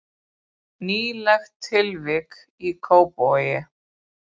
Nýlegt tilvik í Kópavogi